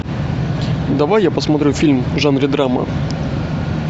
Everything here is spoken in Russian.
давай я посмотрю фильм в жанре драма